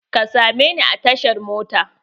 Ka sa me ni a tashar mota!